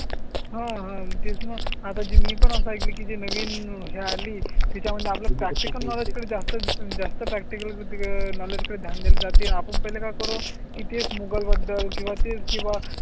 हां, हां तेच ना आता जी मी पण असा आहे की नवीन ह्या आली त्या मध्ये आपला प्रॅक्टिकल जास्त जास्त प्रॅक्टिकल नॉलेज कडे ध्यान दिली जाते. आपण पाहिलं का करो की तेच मोगल बद्दल किंवा ते किंवा